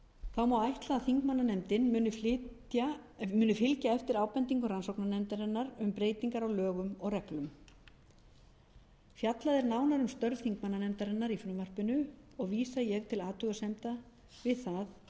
þá má ætla að þingmannanefndin muni fylgja eftir ábendingum rannsóknarnefndarinnar um breytingar á lögum og reglum fjallað er nánar um störf þingmannanefndarinnar í frumvarpinu og vísa ég til athugasemda við það